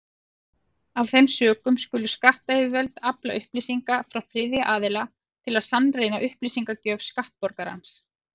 Af þeim sökum skulu skattyfirvöld afla upplýsinga frá þriðja aðila til að sannreyna upplýsingagjöf skattborgarans.